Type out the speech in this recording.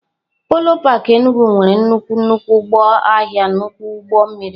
Polo park Enugwu nwere nnukwu nnukwu ụlọ ahịa nnukwu ụgbọ mmiri.